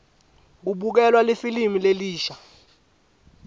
kubukelwa lifilimu lelisha